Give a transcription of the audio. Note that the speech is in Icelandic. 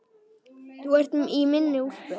Þú ert í minni úlpu.